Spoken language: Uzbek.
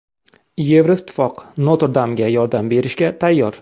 Yevroittifoq Notr-Damga yordam berishga tayyor.